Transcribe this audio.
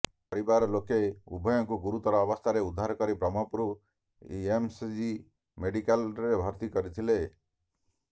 ପରିବାର ଲୋକେ ଉଭୟଙ୍କୁ ଗୁରୁତର ଅବସ୍ଥାରେ ଉଦ୍ଧାର କରି ବ୍ରହ୍ମପୁର ଏମ୍କେସିଜି ମେଡ଼ିକାଲରେ ଭର୍ତ୍ତି କରିଥିଲେ